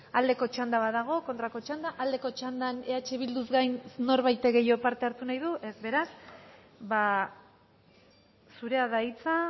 aldeko txanda badago kontrako txanda aldeko txandan eh bilduz gain norbaitek gehiago parte hartu nahi du ez beraz zurea da hitza